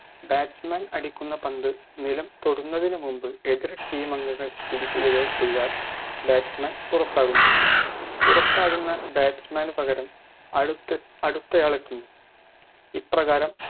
batsman അടിക്കുന്ന പന്ത് നിലം തൊടുന്നതിനു മുൻപ് എതിർ team അംഗങ്ങൾ പിടിക്കുകയോ ചെയ്താൽ batsman പുറത്താകുന്നു പുറത്താകുന്ന batsman ന് പകരം അടുത്ത് അടുത്തയാളെത്തുന്നു ഇപ്രകാരം